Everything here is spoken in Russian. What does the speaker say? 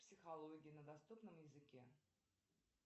психология на доступном языке